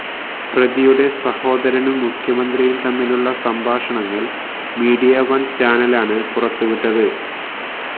പ്രതിയുടെ സഹോദരനും മുഖ്യമന്ത്രിയും തമ്മിലുള്ള സംഭാഷണങ്ങൾ മീഡിയ വൺ ചാനലാണ് പുറത്തുവിട്ടത്